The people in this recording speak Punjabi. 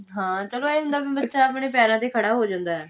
ਚਲੋ ਇਹ ਹੁੰਦਾ ਕਿ ਬੱਚਾ ਆਪਣੇ ਪੈਰਾਂ ਤੇ ਖੜਾ ਹੋ ਜਾਂਦਾ